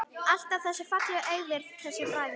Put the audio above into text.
Alltaf svo fallega eygðir þessir bræður.